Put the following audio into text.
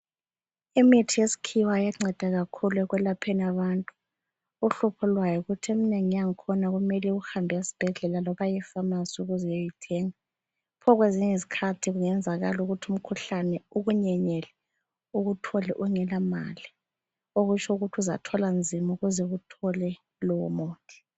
Imithi yesikhiwa iyanceda kakhulu ekwelapheni abantu ,uhlupho lwayo yikuthi emnengi yakhona kumele uhambe esibhedlela Noma e pharmacy ukuze uyeyithenga ,pho kwezinye izikhathi kungenzeka ukuthi umkhuhlane ukunyenyele ,ukuthole ungela mali ,okutsho uzathwala nzima ukuze uwuthole lowo muthi.